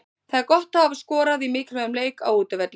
Það er gott að hafa skorað í mikilvægum leik, á útivelli.